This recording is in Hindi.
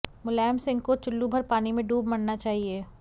मुलायम सिंह को चुल्लू भर पानी मे डूब मरना चाहिए